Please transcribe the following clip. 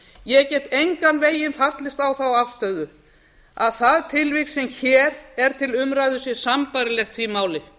ég get engan veginn fallist á þá afstöðu að það tilvik sem hér er til umræðu sé sambærilegt því máli